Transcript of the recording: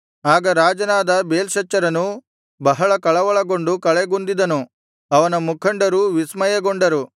ಆಗ ರಾಜನಾದ ಬೇಲ್ಶಚ್ಚರನು ಬಹಳ ಕಳವಳಗೊಂಡು ಕಳೆಗುಂದಿದನು ಅವನ ಮುಖಂಡರೂ ವಿಸ್ಮಯಗೊಂಡರು